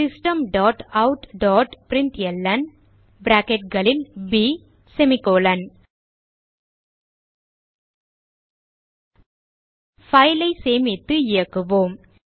system dot out dot println file ஐ சேமித்து இயக்குவோம்